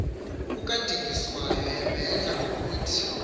kukadingiswayo ubedla ngokuthi